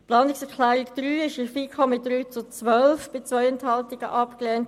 Die Planungserklärung 3 wurde mit 3 Ja- gegen 12 Nein-Stimmen bei 2 Enthaltungen abgelehnt.